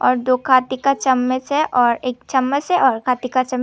और दो काटी का चमच है और एक चमच है और काटी का चम --